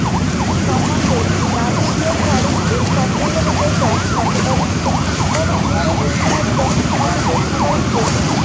সম্বন্ধে গান্ধীজি ও স্বরূপ ও সম্পূর্ণরূপে সচেতন ছিলেন। কোনও ইংরেজ মিশনারি যখন তাহাকে প্রশ্ন করেন যে